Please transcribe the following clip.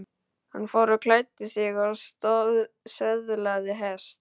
Hann fór og klæddi sig og söðlaði hest.